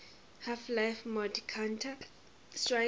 half life mod counter strike